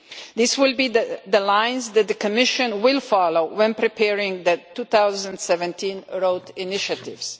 This will be the line that the Commission will follow when preparing the 2017 road initiatives.